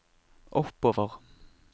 oppover